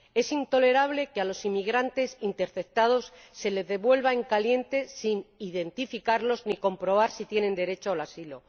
Es intolerable que a los inmigrantes interceptados se les devuelva en caliente, sin identificarlos ni comprobar si tienen derecho al asilo.